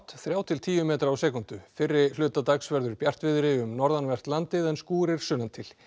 þrjá til tíu metra á sekúndu fyrri hluta dags verður bjartviðri um norðanvert landið en skúrir sunnantil